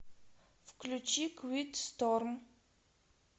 включи квит сторм